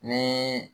Ni